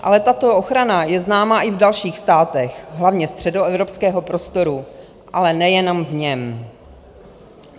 Ale tato ochrana je známa i v dalších státech, hlavně středoevropského prostoru, ale nejenom v něm.